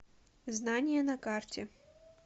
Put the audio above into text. знание на карте